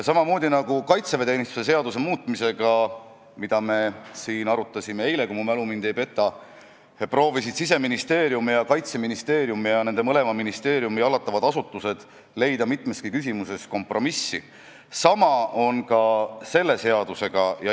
Samamoodi nagu kaitseväeteenistuse seaduse muutmisega – mida me arutasime siin eile, kui mu mälu mind ei peta – proovisid Siseministeerium ja Kaitseministeerium ning nende mõlema ministeeriumi hallatavad asutused leida mitmeski küsimuses kompromissi, on ka selle seadusega.